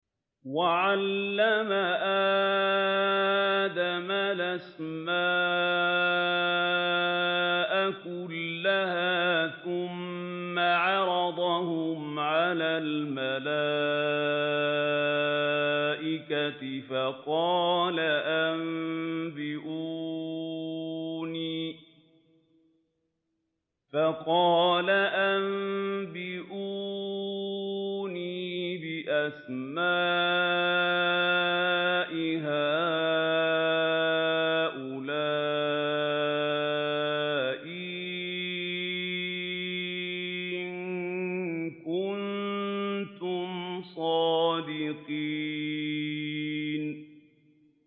وَعَلَّمَ آدَمَ الْأَسْمَاءَ كُلَّهَا ثُمَّ عَرَضَهُمْ عَلَى الْمَلَائِكَةِ فَقَالَ أَنبِئُونِي بِأَسْمَاءِ هَٰؤُلَاءِ إِن كُنتُمْ صَادِقِينَ